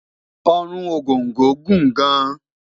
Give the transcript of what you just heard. Orun Ogongo Gun gan